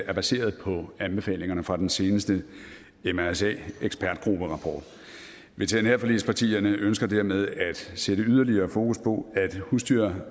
er baseret på anbefalingerne fra den seneste mrsa ekspertgrupperapport veterinærforligspartierne ønsker dermed at sætte yderligere fokus på at husdyr